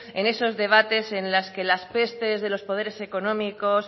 en esos debates en las que los pestes de los poderes económicos